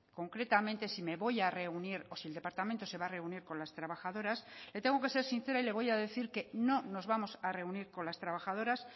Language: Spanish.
concretamente si me voy a reunir o si el departamento se va a reunir con las trabajadoras le tengo que ser sincera y le voy a decir que no nos vamos a reunir con las trabajadoras